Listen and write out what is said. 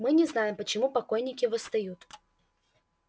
мы не знаем почему покойники восстают